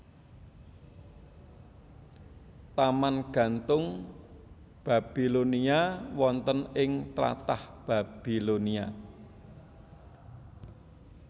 Taman Gantung Babilonia wonten ing tlatah Babilonia